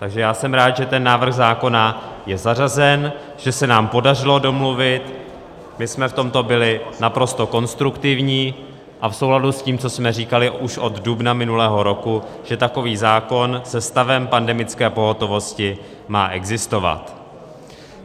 Takže já jsem rád, že ten návrh zákona je zařazen, že se nám podařilo domluvit, že jsme v tomto byli naprosto konstruktivní a v souladu s tím, co jsme říkali už od dubna minulého roku, že takový zákon se stavem pandemické pohotovosti má existovat.